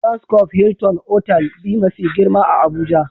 "Transcope Hilton" otal be ma fi girma a Abuja.